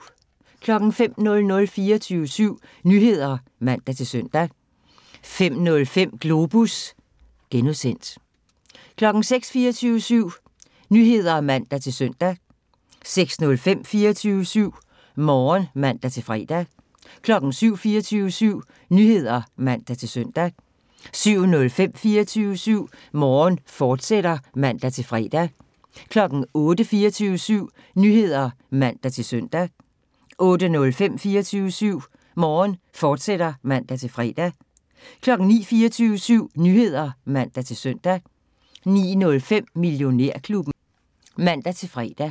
05:00: 24syv Nyheder (man-søn) 05:05: Globus (G) 06:00: 24syv Nyheder (man-søn) 06:05: 24syv Morgen (man-fre) 07:00: 24syv Nyheder (man-søn) 07:05: 24syv Morgen, fortsat (man-fre) 08:00: 24syv Nyheder (man-søn) 08:05: 24syv Morgen, fortsat (man-fre) 09:00: 24syv Nyheder (man-søn) 09:05: Millionærklubben (man-fre)